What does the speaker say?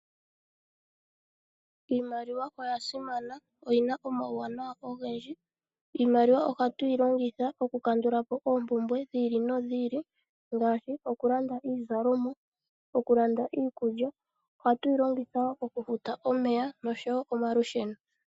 Iimaliwa oya simana oyi na omauwanawa ogendji iimaliwa ohatu yi longitha okukandulapo oompumbwe dhi ili nodhi ili ngaashi okulanda iizalonwa okulanda iikulya ohatu yi longitha wo okufuta omeya oshowo omalusheno.